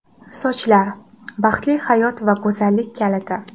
Sochlar – baxtli hayot va go‘zallik kaliti.